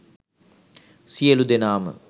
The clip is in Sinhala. සියලු දෙනාම